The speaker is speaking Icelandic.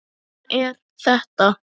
Svona er þetta.